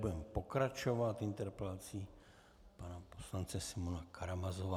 Budeme pokračovat interpelací pana poslance Simeona Karamazova.